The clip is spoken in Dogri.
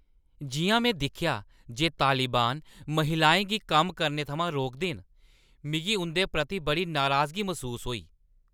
जिʼयां में दिक्खेआ जे तालिबान महिलाएं गी कम्म करने थमां रोकदे न, मिगी उंʼदे प्रति बड़ी नराजगी मसूस होई।